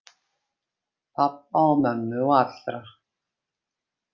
Pabba og mömmu og allra.